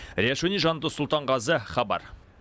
риат шони жандос сұлтанғазы хабар